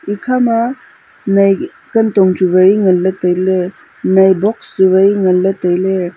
ekhama nai kantong chu wai ngan ley tai ley nai box chu wai ngan ley tai ley.